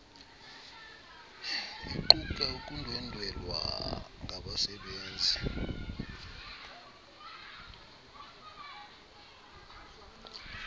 iquka ukundwendwela ngabasebenzi